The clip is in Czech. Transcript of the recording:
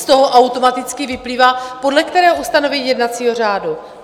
Z toho automaticky vyplývá - podle kterého ustanovení jednacího řádu?